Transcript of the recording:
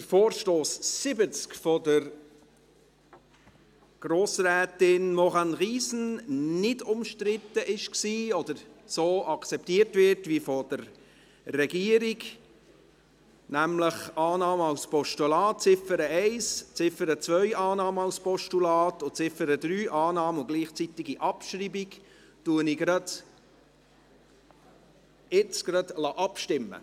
Da der Vorstoss 70 von Grossrätin Maurane Riesen nicht umstritten ist oder so akzeptiert wird, wie von der Regierung vorgeschlagen – nämlich Annahme als Postulat bei Ziffer 1, bei Ziffer 2 Annahme als Postulat und Ziffer 3 Annahme und gleichzeitige Abschreibung – lasse ich jetzt gleich darüber abstimmen.